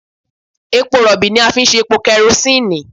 Epo rọ̀bì ni a fi ń ṣe epo kẹrosínì